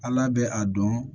Ala bɛ a dɔn